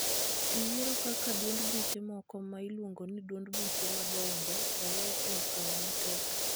e yiero kaka duond buche moko ma iluongo ni duond buche madongo owe e okang' matek.